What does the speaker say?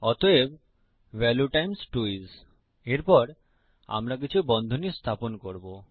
অতএব value times 2 is এরপর আমরা কিছু বন্ধনী স্থাপন করবো